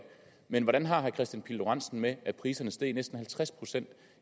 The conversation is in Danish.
men hvordan har herre kristian pihl lorentzen det med at priserne steg næsten halvtreds procent